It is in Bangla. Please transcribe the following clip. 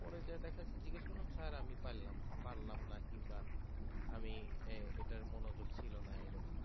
পরে যেয়ে দেখা যাচ্ছে জিজ্ঞেস করলাম sir আমি পারলাম না পারলাম না কিংবা আমি এটার মনোযোগ ছিল না এরকম